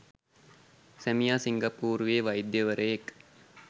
සැමියා සිංගප්පූරුවේ වෛද්‍යවරයෙක්